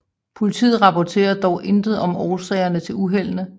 Politiet rapporterer dog intet om årsagerne til uheldene